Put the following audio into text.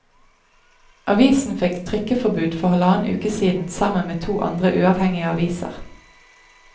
Avisen fikk trykkeforbud for halvannen uke siden sammen med to andre uavhengige aviser.